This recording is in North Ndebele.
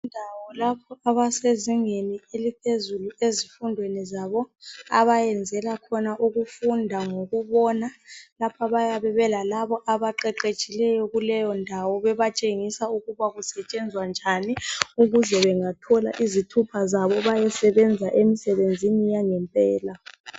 Indawo lapho abezingeni eliphezulu ezifundweni abafundela khona ngokubona bayabe belabaqeqetshileyo kuleyondawo bebatshengisa ukuba kusetshenzwa njani ukuze bengathola izithupha zabo bayemsebenzini yangempela.